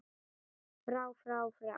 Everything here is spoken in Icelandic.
FRÁ FRÁ FRÁ